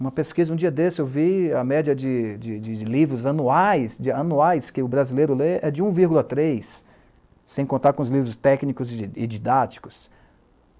Uma pesquisa, um dia desse, eu vi a média de de de de livros anuais, de anuais, que o brasileiro lê é de um vírgula três, sem contar com os livros técnicos e e didáticos.